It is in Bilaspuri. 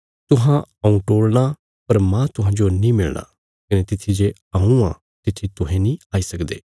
तुहां हऊँ टोल़णा पर माह तुहांजो नीं मिलणा कने तित्थी जे हऊँ आ तित्थी तुहें नीं आई सकदे